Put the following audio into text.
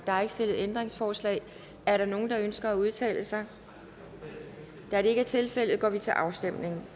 der er ikke stillet ændringsforslag er der nogen der ønsker at udtale sig da det ikke er tilfældet går vi til afstemning